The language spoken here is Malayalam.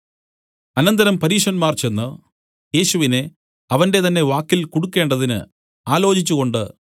അനന്തരം പരീശന്മാർ ചെന്ന് യേശുവിനെ അവന്റെ തന്നെ വാക്കിൽ കുടുക്കേണ്ടതിന് ആലോചിച്ചുകൊണ്ട്